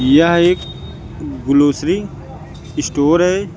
यह एक grocery store है।